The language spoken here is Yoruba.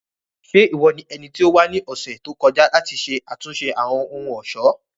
Ṣe iwọ ni ẹniti o wa ni ọsẹ to kọja lati ṣe atunṣe Awọn ohun-ọṣọ?